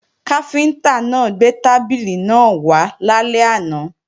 Káfíntá náà gbé tábìlì náà wá lálẹ́ àná